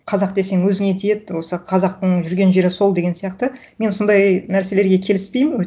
қазақ десең өзіңе тиеді осы қазақтың жүрген жері сол деген сияқты мен сондай нәрселерге келіспеймін